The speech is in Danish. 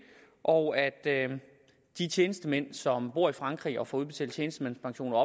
og at de tjenestemænd som bor i frankrig og får udbetalt tjenestemandspension og